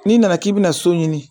N'i nana k'i bɛna so ɲini